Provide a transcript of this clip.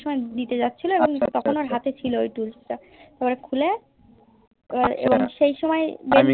vision দিতে যাচ্ছিলো এবং তখন ওর হাতে ছিল Tools তা এবার খুলে এবং সেই সময় এ